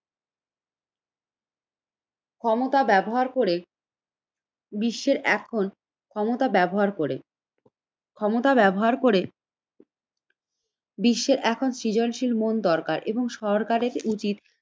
ক্ষমতা ব্যবহার করে বিশ্বের এখন ক্ষমতা ব্যবহার করে, ক্ষমতা ব্যবহার করে বিশ্বের এখন সৃজনশীল মন দরকার এবং সরকারের উচিত